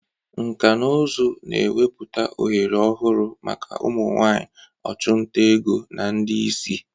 Nkà na ụzụ na-emepụta ohere ọhụrụ maka ụmụ nwanyị ọchụnta ego na ndị isi.